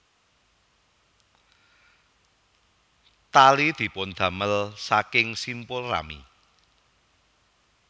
Tali dipundamel saking simpul rami